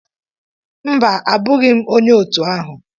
Mba, Abụghị m onye otu ahụ